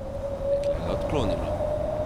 Dekle ga je odklonilo.